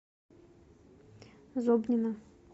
зобнина